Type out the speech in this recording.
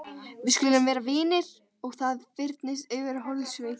Við skulum vera vinir og það fyrnist yfir holdsveikina.